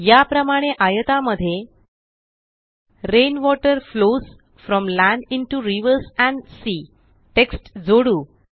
याप्रमाणे आयतामध्ये rain water flows from land into rivers and sea text जोडू